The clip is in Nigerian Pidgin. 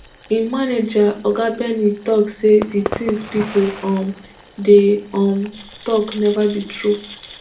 im manager oga benny tok say di tins pipo um dey um tok neva be true